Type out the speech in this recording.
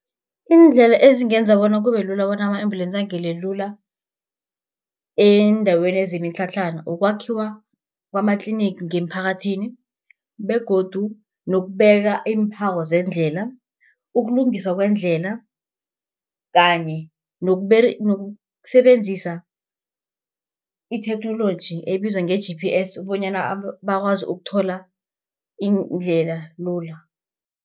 Iindlela ezingenza bona kube lula bona ama-embulensi angene lula eendaweni zemitlhatlhana, kukwakhiwa kwamatlinigi ngemiphakathini, begodu nokubeka iimphawo zeendlela. Ukulungiswa kweendlela, kanye nokusebenzisa itheknoloji ebizwa nge-G_P_S bonyana bakwazi ukuthola indlela lula.